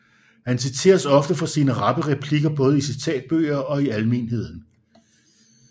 Han citeres ofte for sine rappe replikker både i citatbøger og i almenheden